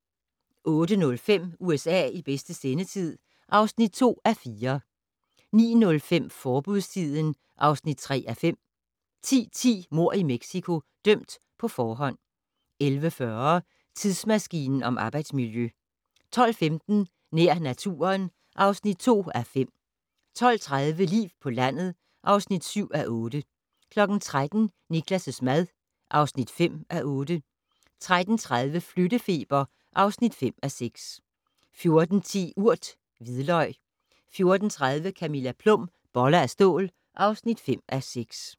08:05: USA i bedste sendetid (2:4) 09:05: Forbudstiden (3:5) 10:10: Mord i Mexico - dømt på forhånd 11:40: Tidsmaskinen om arbejdsmiljø 12:15: Nær naturen (2:5) 12:30: Liv på landet (7:8) 13:00: Niklas' mad (5:8) 13:30: Flyttefeber (5:6) 14:10: Urt: hvidløg 14:30: Camilla Plum - Boller af stål (5:6)